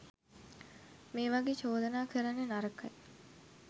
මේ වගේ චෝදනා කරන්න නරකයි.